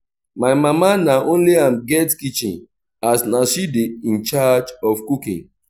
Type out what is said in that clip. my mama na only am get kitchen as na she dey incharge of cooking